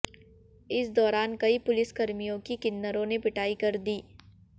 इस दौरान कई पुलिसकर्मियों की किन्नरों ने पिटाई कर दी